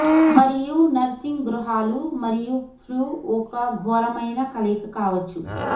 మరియు నర్సింగ్ గృహాలు మరియు ఫ్లూ ఒక ఘోరమైన కలయిక కావచ్చు